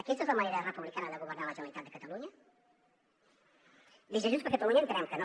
aquesta és la manera republicana de governar la generalitat de catalunya des de junts per catalunya entenem que no